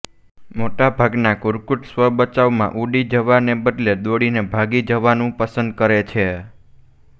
મોટાભાગના કુર્કુટ સ્વબચાવમાં ઉડી જવા ને બદલે દોડીને ભાગી જવાનું પસંદ કરે છે